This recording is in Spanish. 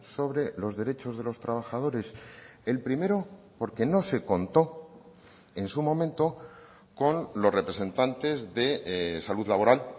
sobre los derechos de los trabajadores el primero porque no se contó en su momento con los representantes de salud laboral